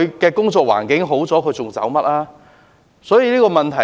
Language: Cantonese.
當工作環境好轉，他們還會離開嗎？